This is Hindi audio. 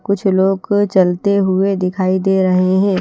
कुछ लोग चलते हुए दिखाई दे रहे हैं।